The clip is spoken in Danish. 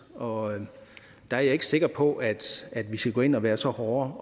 og der er jeg ikke sikker på at vi skal gå ind og være så hårde